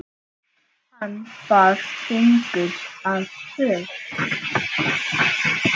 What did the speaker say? Hann bar fingur að vör.